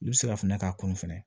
I bɛ se ka fɛnɛ k'a kun fɛnɛ